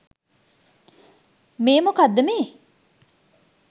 මේ මොකක්ද මේ